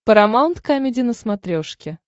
парамаунт камеди на смотрешке